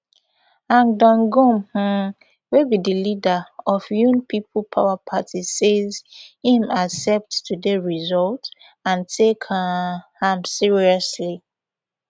han donghoon um wey be be di leader of yoon people power party says im accept today result and take um am seriously